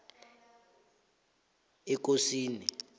ekosini